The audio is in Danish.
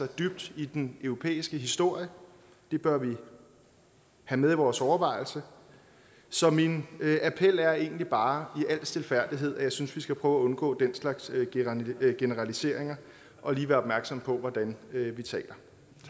dybt i den europæiske historie og det bør vi have med i vores overvejelser så min appel er egentlig bare i al stilfærdighed at jeg synes vi skal prøve at undgå den slags generaliseringer og lige være opmærksom på hvordan vi taler